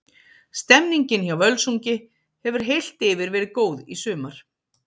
Stemmningin hjá Völsungi hefur heilt yfir verið góð í sumar.